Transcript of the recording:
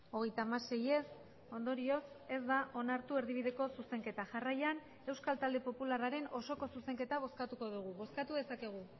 hogeita hamasei ez ondorioz ez da onartu erdibideko zuzenketa jarraian euskal talde popularraren osoko zuzenketa bozkatuko dugu bozkatu dezakegu